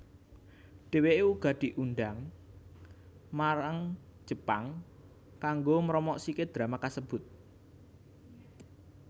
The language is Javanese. Dheweké uga diundhang menyang Jepang kanggo mromosikaké drama kasebut